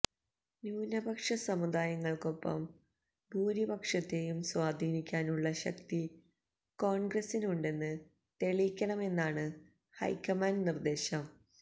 ന്യൂനപക്ഷ സമുദായങ്ങൾക്കൊപ്പം ഭൂരിപക്ഷത്തേയും സ്വീധീനിക്കാനുള്ള ശക്തി കോൺഗ്രസിനുണ്ടെന്ന് തെളിയിക്കണമെന്നാണ് ഹൈക്കമാണ്ട് നിർദ്ദേശം